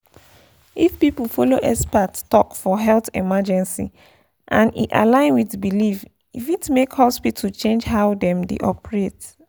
if people follow expert talk for health emergency and e align with belief e fit make hospital change how dem dey operate.